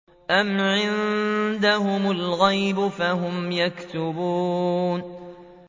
أَمْ عِندَهُمُ الْغَيْبُ فَهُمْ يَكْتُبُونَ